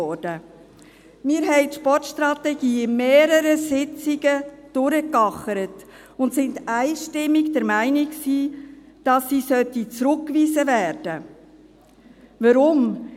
Wir ackerten die Sportstrategie an mehreren Sitzungen durch und waren einstimmig der Meinung, dass sie zurückgewiesen werden sollte.